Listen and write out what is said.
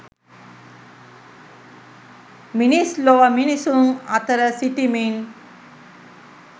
මිනිස් ලොව මිනිසුන් අතර සිටිමින්